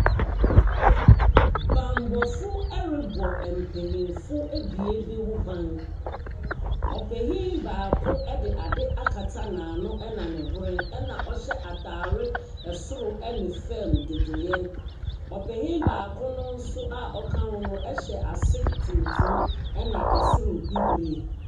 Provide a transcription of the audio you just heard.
Bambɔfo rebɔ mpayinfo abien bi ho ban. Ɔpanyin baako de adeɛ akata n'ano, ɛna ne hwene, ɛna ɔhyɛ atare soro ne fam dodoe. Ɔpanyin baako no nso aɔka ho ho hyɛ ase tuntum ɛna soro bibire.